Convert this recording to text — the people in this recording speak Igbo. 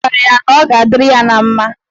Ọ gwara ya na ọ ga-adịrị ya na mma.